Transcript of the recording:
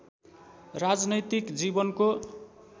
राजनैतिक जीवनको